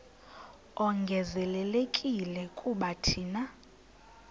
ongezelelekileyo kuba thina